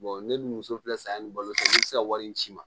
ne dun muso filɛ san ni balo san ne tɛ se ka wari in ci ma